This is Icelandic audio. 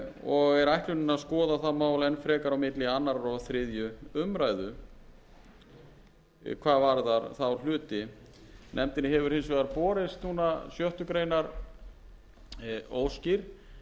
og er ætlunin að skoða það mál enn frekar á milli annars og þriðju umræðu hvað varðar þá hluti nefndinni hefur hins vegar borist núna sjöttu grein óskir um sjöttu grein